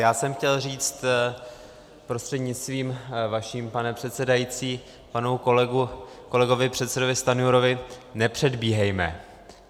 Já jsem chtěl říct prostřednictvím vaším, pane předsedající, panu kolegovi předsedovi Stanjurovi - nepředbíhejme.